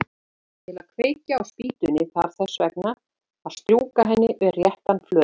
Til að kveikja á spýtunni þarf þess vegna að strjúka henni við réttan flöt.